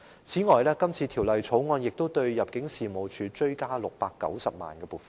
此外，《條例草案》亦就入境事務處追加690萬元撥款。